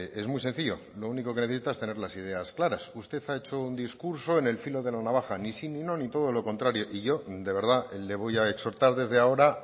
es muy sencillo lo único que necesitas es tener las ideas claras usted ha hecho un discurso en el filo de la navaja ni sí ni no ni todo lo contrario y yo de verdad le voy a exhortar desde ahora